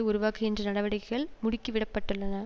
உருவாக்குகின்ற நடவடிக்கைள் முடுக்கிவிடப்பட்டுள்ளன